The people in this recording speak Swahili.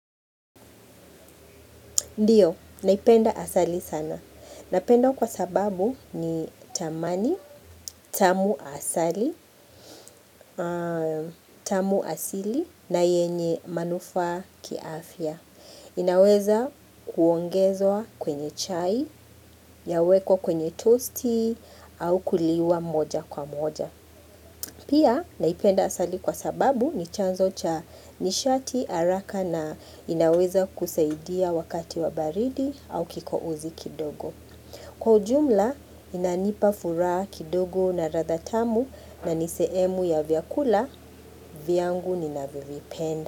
Ndiyo, naipenda asali sana. Napenda kwa sababu ni tamani, tamu asali, tamu asili na yenye manufaa kiafya. Inaweza kuongezwa kwenye chai, yawekwa kwenye toasty, au kuliwa moja kwa moja. Pia, naipenda asali kwa sababu ni chanzo cha nishati, haraka na inaweza kusaidia wakati wa baridi au kikohozi kidogo. Kwa jumla inanipa furaha kidogo na ladha tamu na nisehemu ya vyakula, vyangu ninavyovipenda.